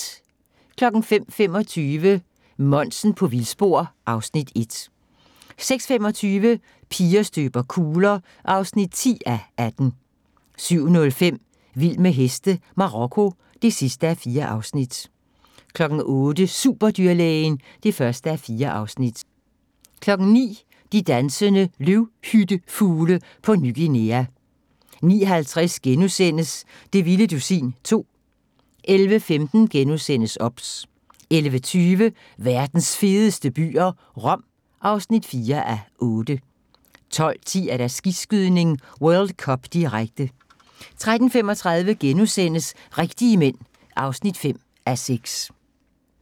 05:25: Monsen på vildspor (Afs. 1) 06:25: Piger støber kugler (10:18) 07:05: Vild med heste - Marokko (4:4) 08:00: Superdyrlægen (1:4) 09:00: De dansende løvhyttefugle på Ny Guinea 09:50: Det vilde dusin 2 * 11:15: OBS * 11:20: Verdens fedeste byer - Rom (4:8) 12:10: Skiskydning: World Cup, direkte 13:35: Rigtige Mænd (5:6)*